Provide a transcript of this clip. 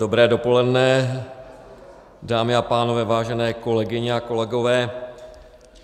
Dobré dopoledne, dámy a pánové, vážené kolegyně a kolegové.